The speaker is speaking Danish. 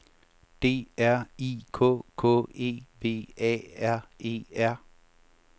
D R I K K E V A R E R